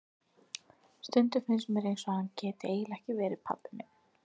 Stundum finnst mér eins og hann geti eiginlega ekki verið pabbi minn.